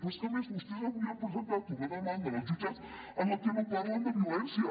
però és que a més vostès avui han presentat una demanda en els jutjats en la que no parlen de violència